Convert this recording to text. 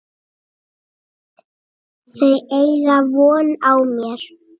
Þau eiga von á mér.